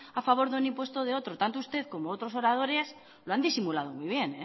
a favor de un impuesto o de otro tanto usted como otros oradores lo han disimulado muy bien